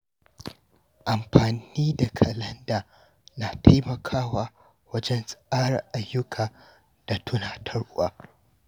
Amfani da kalanda na taimakawa wajen tsara ayyuka da tunatarwa.